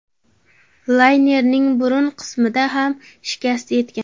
Laynerning burun qismiga ham shikast yetgan.